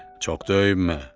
Çox döyünmə.